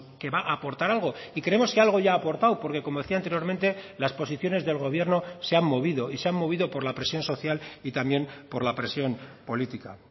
que va a aportar algo y creemos que algo ya ha aportado porque como decía anteriormente las posiciones del gobierno se han movido y se han movido por la presión social y también por la presión política